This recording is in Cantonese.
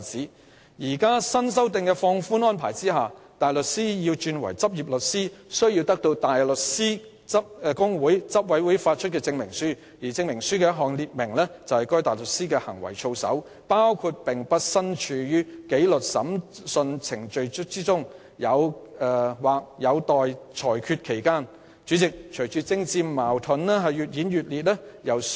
在現時新修訂的放寬安排下，大律師如要獲認許為律師，需取得香港大律師公會執委會發出的證明書，證明書須列明該大律師的行為操守，包括該大律師不是大律師紀律審裁組或上訴法庭的仍然待決的法律程序的標的。